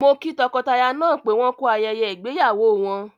Mo kí tọkọtaya náà pé wọ́n ku ayẹyẹ ìgbéyàwó wọn.